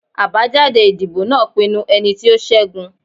Abajade idibo naa pinnu ẹniti o ṣẹgun